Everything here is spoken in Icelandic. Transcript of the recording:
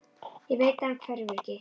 Ég veit að hann hverfur ekki.